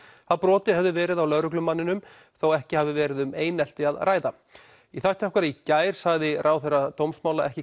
að brotið hefði verið á lögreglumanninum þó ekki hafi verið um einelti að ræða í þætti okkar í gær sagði ráðherra dómsmála ekki